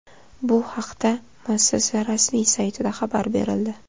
Bu haqda muassasa rasmiy saytida xabar berildi .